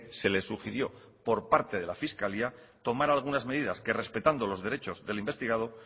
se le sugirió por parte de la fiscalía tomar algunas medidas que respetando los derechos del investigado